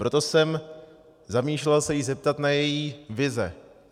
Proto jsem zamýšlel se jí zeptat na její vize.